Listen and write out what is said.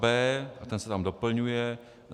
b) - a ten se tam doplňuje: